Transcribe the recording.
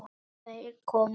Þeir komu út.